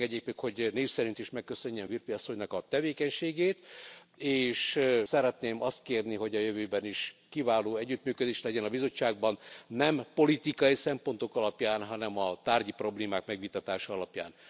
Engedjék meg, hogy név szerint is megköszönjem Virpi Asszonynak a tevékenységét. És szeretném azt kérni, hogy a jövőben is kiváló együttműködés legyen a bizottságban, nem politikai szempontok alapján, hanem a tárgyi problémák megvitatása alapján.